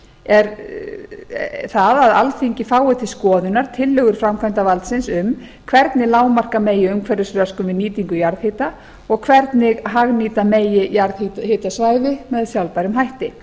er að alþingi fái til skoðunar tillögur framkvæmdarvaldsins um hvernig lágmarka megi umhverfisröskun við nýtingu jarðhita og hvernig hagnýta megi jarðhitasvæði með sjálfbærum hætti